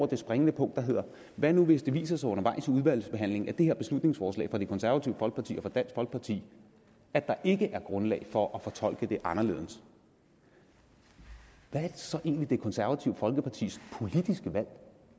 det springende punkt der hedder hvad nu hvis det viser sig undervejs i udvalgsbehandlingen af det her beslutningsforslag fra det konservative folkeparti og dansk folkeparti at der ikke er grundlag for at fortolke det anderledes hvad er så egentlig det konservative folkepartis politiske valg